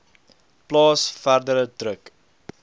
plaas verdere druk